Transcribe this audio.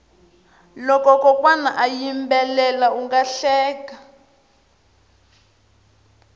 loko kokwana a yimbela unga hleka